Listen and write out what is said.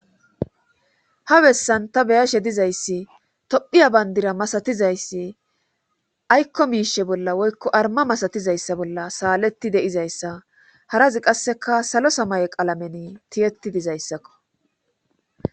ha bessan ta beyashe dizayssi tophiya bayndira masatizayssi aykko miishe bolla woykko arma masatizayssa bolla saaleti deizayssa harazi qasseka salo samaye qaalamen tiyetti dizayssakko